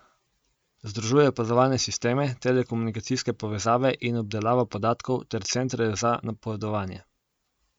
Združuje opazovalne sisteme, telekomunikacijske povezave in obdelavo podatkov ter centre za napovedovanje.